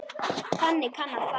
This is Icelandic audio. Þannig kann að fara.